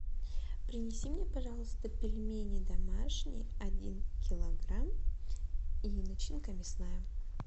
принеси мне пожалуйста пельмени домашние один килограмм и начинка мясная